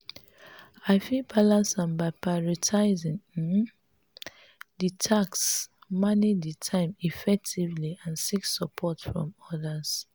i fit balance am by prioritizing um di tasks manage di time effectively and seek support from odas.